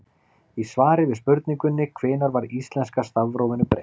Í svari við spurningunni Hvenær var íslenska stafrófinu breytt?